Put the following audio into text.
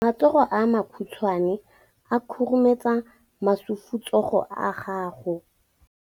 Matsogo a makhutshwane a khurumetsa masufutsogo a gago.